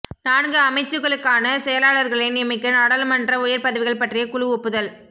நான்கு அமைச்சுகளுக்கான செயலாளர்களை நியமிக்க நாடாளுமன்ற உயர் பதவிகள் பற்றிய குழு ஒப்புதல்